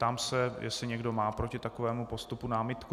Ptám se, jestli někdo má proti takovému postupu námitku.